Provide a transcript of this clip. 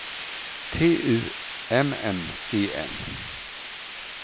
T U M M E N